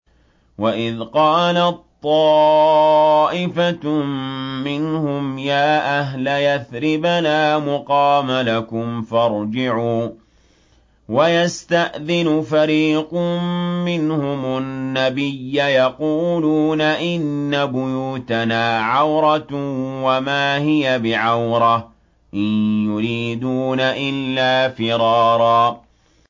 وَإِذْ قَالَت طَّائِفَةٌ مِّنْهُمْ يَا أَهْلَ يَثْرِبَ لَا مُقَامَ لَكُمْ فَارْجِعُوا ۚ وَيَسْتَأْذِنُ فَرِيقٌ مِّنْهُمُ النَّبِيَّ يَقُولُونَ إِنَّ بُيُوتَنَا عَوْرَةٌ وَمَا هِيَ بِعَوْرَةٍ ۖ إِن يُرِيدُونَ إِلَّا فِرَارًا